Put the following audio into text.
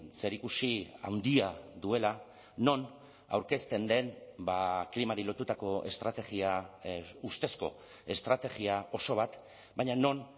zerikusi handia duela non aurkezten den klimari lotutako estrategia ustezko estrategia oso bat baina non